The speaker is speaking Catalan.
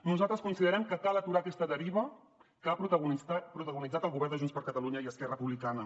nosaltres considerem que cal aturar aquesta deriva que ha protagonitzat el govern de junts per catalunya i esquerra republicana